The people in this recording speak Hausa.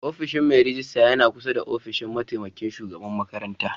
Ofishin Mai ragista yana ƙusa da ofishin mataimaƙin shugaɓan maƙaranta.